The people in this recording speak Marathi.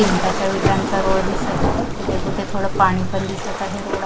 मिठाच्या विठांचा रोळ दिसत आहे कुठे कुठे थोडं पाणी पण दिसत आहे रोडा --